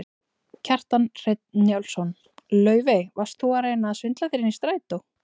Kjartan Hreinn Njálsson: Laufey, varst þú að reyna að svindla þér inn í strætó?